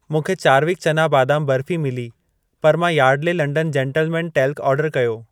मूंखे चारविकु चना बादामु बर्फी मिली, पर मां यार्डले लंडन जेंटलमैन टेल्क ऑर्डरु कयो।